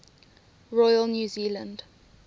royal new zealand